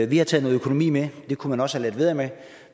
vi har taget noget økonomi med det kunne man også have ladet være